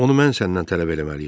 Onu mən səndən tələb eləməliyəm.